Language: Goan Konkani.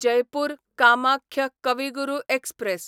जयपूर कामाख्य कवी गुरू एक्सप्रॅस